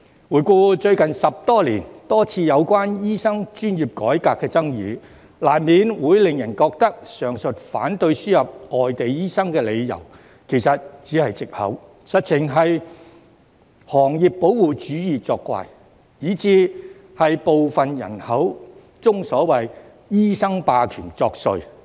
回顧最近10多年有關醫生專業改革的多次爭議，難免令人覺得上述反對輸入外地醫生的理由其實只是藉口，實情是行業保護主義作怪，甚至是部分人口中所謂"醫生霸權"作祟。